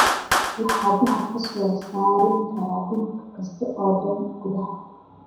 Waxaan dahab ka soo saari karaa dhul kasta oo danta guud ah